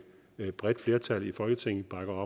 bredt flertal i folketing bakker